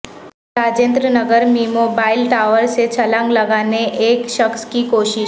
راجندر نگر میںموبائیل ٹاور سے چھلانگ لگانے ایک شخص کی کوشش